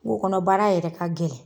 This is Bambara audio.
Kungo kɔnɔ baara yɛrɛ ka gɛlɛn.